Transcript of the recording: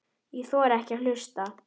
Ég þori ekki að hlusta.